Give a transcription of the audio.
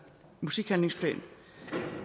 musikhandlingsplan